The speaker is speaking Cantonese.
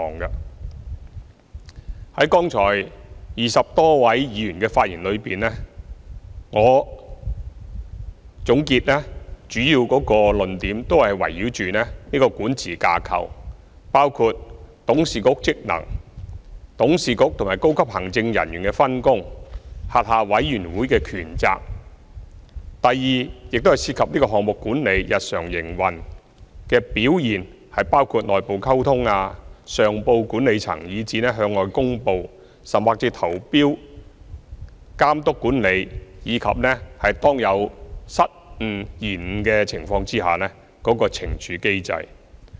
總結剛才20多位議員的發言，他們主要的論點都是圍繞港鐵公司管治架構，包括董事局的職能、董事局與高級行政人員的分工和轄下委員會的權責；第二，論點亦涉及項目管理、日常營運的表現，包括內部溝通、上報管理層以至向外公布、投標的監督管理，以及當有失誤、延誤的情況時的懲處機制。